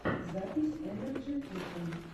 запись энерджи фишин